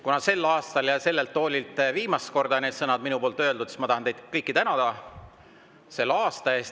Kuna sel aastal ja sellelt toolilt ütlen viimast korda need sõnad, siis ma tahan teid kõiki selle aasta eest tänada.